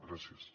gràcies